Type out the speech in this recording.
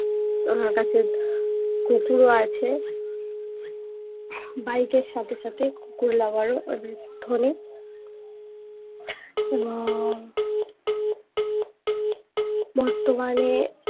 ওনার কাছে কুকুরও আছে বাইকের এর সাথে সাথে কুকুর lover ও MS ধোনি উম বর্তমানে